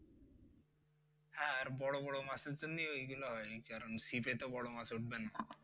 আর বড় বড় মাছের জন্য ওইগুলা হয় কারণ ছিপে তো বড় মাছ উঠবে না।